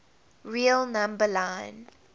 real number line